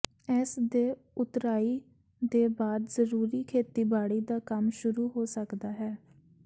ਇਸ ਦੇ ਉਤਰਾਈ ਦੇ ਬਾਅਦ ਜ਼ਰੂਰੀ ਖੇਤੀਬਾੜੀ ਦਾ ਕੰਮ ਸ਼ੁਰੂ ਹੋ ਸਕਦਾ ਹੈ